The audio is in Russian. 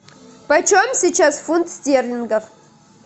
по чем сейчас фунт стерлингов